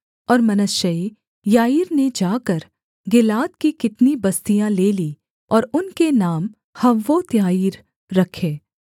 और Manasseh Jair ने जाकर गिलाद की कितनी बस्तियाँ ले लीं और उनके नाम हव्वोत्याईर रखे